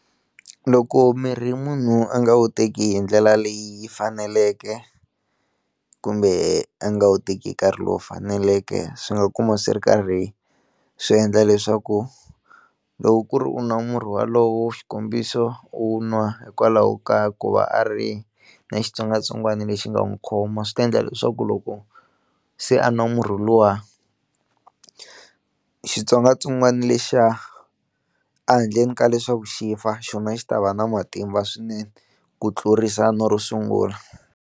Loko mirhi munhu a nga wu teki hi ndlela leyi faneleke kumbe a nga wu teki hi nkarhi lowu faneleke swi nga kuma swi ri karhi swi endla leswaku loko ku ri u nwa murhi walowo xikombiso u nwa hikwalaho ka ku va a ri na xitsongwatsongwana lexi nga n'wi khoma swi ta endla leswaku loko se a nwa murhi luwa xitsongwatsongwana lexiya a handleni ka leswaku xi fa xona xi ta va na matimba swinene ku tlurisa na ro sungula.